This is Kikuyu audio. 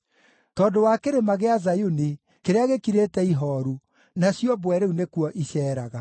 tondũ wa Kĩrĩma gĩa Zayuni, kĩrĩa gĩkirĩte ihooru, nacio mbwe rĩu nĩkuo iceeraga.